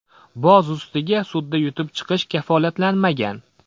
Boz ustiga sudda yutib chiqish kafolatlanmagan.